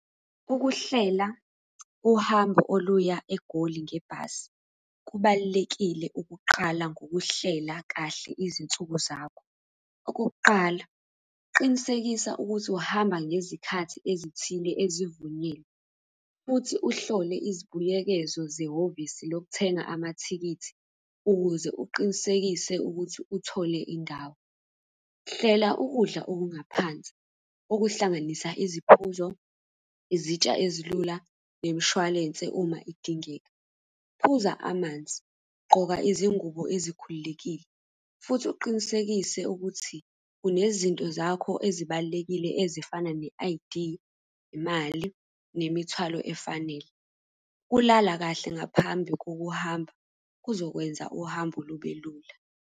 Ukuhlela uhambo oluya eGoli ngebhasi kubalulekile ukuqala ngokuhlela kahle izinsuku zakho. Okokuqala, qinisekisa ukuthi uhamba ngezikhathi ezithile ezivunyiwe, futhi uhlole izibuyekezo zehhovisi lokuthenga amathikithi, ukuze uqinisekise ukuthi uthole indawo. Hlela ukudla okungaphansi, okuhlanganisa iziphuzo, izitsha ezilula, nemishwalense uma idingeka. Phuza amanzi, gqoka izingubo ezikhululekile, futhi uqinisekise ukuthi unezinto zakho ezibalulekile ezifana ne-I_D, imali, nemithwalo efanele. Ukulala kahle ngaphambi kokuhamba kuzokwenza uhambo lube lula.